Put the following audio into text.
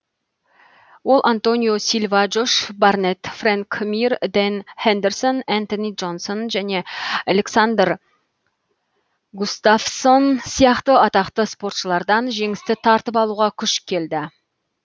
ол антонио силва джош барнетт фрэнк мир дэн хендерсон энтони джонсон және александр густафссон сияқты атақты спортшылардан жеңісті тартып алуға күші келді